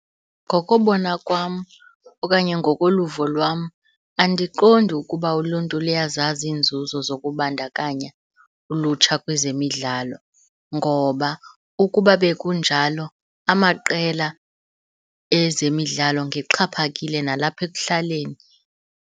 Ngokobona kwam okanye ngokoluvo lwam andiqondi ukuba uluntu luyazazi iinzuzo zokubandakanya ulutsha kwezemidlalo, ngoba ukuba bekunjalo amaqela ezemidlalo ngeyexhaphakile nalapha ekuhlaleni.